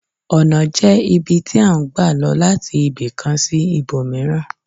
Ònà jẹ́ ibi tí à ń gbà lo láti ibì kan sí ibòmíràn